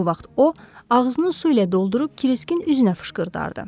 Bu vaxt o, ağzını su ilə doldurub Kriskin üzünə fışqırdardı.